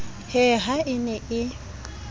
he ha e ne e